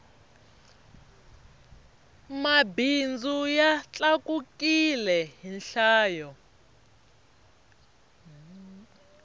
mabindzu ya tlakukile hi nhlayo